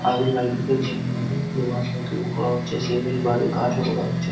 আগের বাড়ির ভেতরের রুম গুলো তৈরী করা হচ্ছে। সিমেন্ট বালি কাজও করা হচ্ছে।